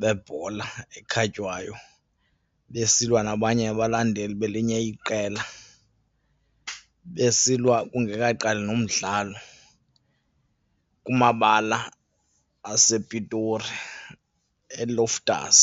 bebhola ekhatywayo besilwa nabanye abalandeli belinye iqela, besilwa kungekaqali nomdlalo kumabala asePitori eLoftus.